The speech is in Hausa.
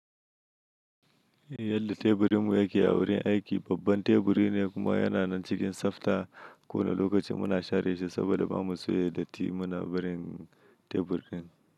Yadda teburinmu yake a wurin aiki, babban teburi ne kuma yana nan cikin tsafta. Ko wane lokaci muna share shi saboda ba mu so ya datti. Muna barin teburin.